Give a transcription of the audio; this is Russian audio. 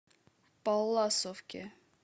палласовке